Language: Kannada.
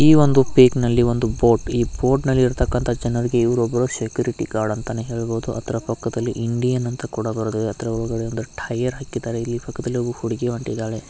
ಈ ಒಂದು ಪಿಕ್ನಲ್ಲಿ ಒಂದು ಬೋಟ್ ಈ ಒಂದು ಬೋಟ್ನಲ್ಲಿ ಇರ್ತಕ್ಕಂತಹ ಜನರಿಗೆ ಇವರು ಒಬ್ಬ ಸೆಕ್ಯುರಿಟಿ ಗಾರ್ಡ್ ಅಂತಾನೇ ಹೇಳ್ಬಹುದು ಅದರ ಪಕ್ಕದಲ್ಲಿ ಇಂಡಿಯನ್ ಅಂತ ಕೂಡಾ ಬರೆದಿದೆ ಹತ್ತಿರದಲ್ಲಿ ಒಂದು ಟಯರ್ ಹಾಕಿದಾರೆ ಪಕ್ಕದಲ್ಲಿ ಒಬ್ಬ ಹುಡುಗಿ ಹೊನ್ತಿದ್ದಾಳೆ.